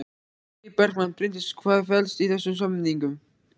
Logi Bergmann: Bryndís hvað felst í þessum samningum?